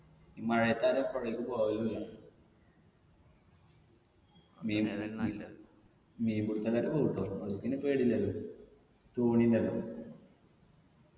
ഈ മഴയത്ത് ആരു അ പൊഴക്ക് പോവലുല്ല മീൻ പിടിത്തക്കാർ പോവുട്ടോ അവർക്ക് പിന്നെ പേടില്ലല്ലോ തോണിയിണ്ടല്ലോ